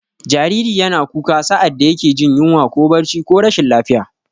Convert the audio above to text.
Jariri yana kuka sa'ad da yake jin yunwa ko barci ko rashin lafiya.